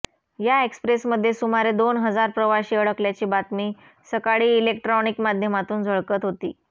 या एक्स्प्रेसमध्ये सुमारे दोन हजार प्रवाशी अडकल्याची बातमी सकाळी इलेक्ट्रॉनिक माध्यमातून झळकत होती